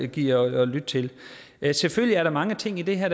gider lytte til selvfølgelig er der mange ting i det her